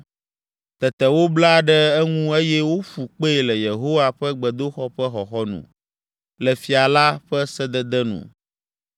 Tete wobla ɖe eŋu eye woƒu kpee le Yehowa ƒe gbedoxɔ ƒe xɔxɔnu, le fia la ƒe sedede nu.